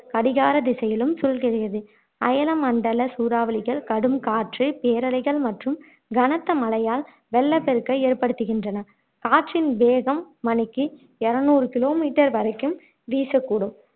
கடிகார திசையிலும் சுழல்கிறது அயன மண்டல சூறாவளிகள் கடும் காற்று பேரலைகள் மற்றும் கனத்த மழையால் வெள்ளப் பெருக்கை ஏற்படுத்துகின்றன காற்றின் வேகம் மணிக்கு இருநூறு kilometer வரைக்கும் வீசக்கூடும்